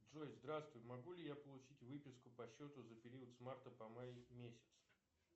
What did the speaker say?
джой здравствуй могу ли я получить выписку по счету за период с марта по май месяц